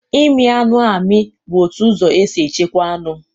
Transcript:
Ịmị anụ amị bụ otu ụzọ e si echekwa anụ.